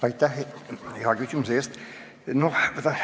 Aitäh hea küsimuse eest!